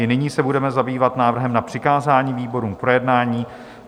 I nyní se budeme zabývat návrhem na přikázání výborům k projednání.